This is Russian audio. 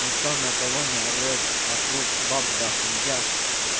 никто никого не орёт вокруг баб дохуя